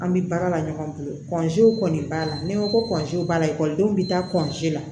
An bɛ baara la ɲɔgɔn bolo kɔni b'a la ni n ko ko b'a la ekɔlidenw bɛ taa la